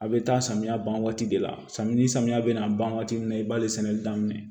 A bɛ taa samiya ban waati de la samiyɛ samiya bɛna ban waati min na i b'ale sɛnɛ daminɛ